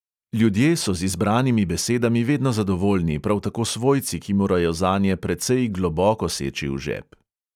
Ljudje so z izbranimi besedami vedno zadovoljni, prav tako svojci, ki morajo zanje precej globoko seči v žep.